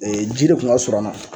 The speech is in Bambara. ji de kun ka surun an na